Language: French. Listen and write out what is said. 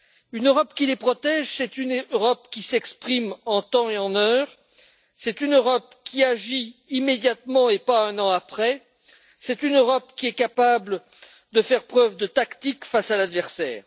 Une Europe qui les protège, c'est une Europe qui s'exprime en temps et en heure, c'est une Europe qui agit immédiatement et pas un an après, c'est une Europe qui est capable de faire preuve de tactique face à l'adversaire.